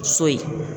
So in